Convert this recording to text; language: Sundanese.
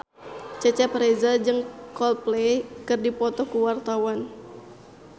Cecep Reza jeung Coldplay keur dipoto ku wartawan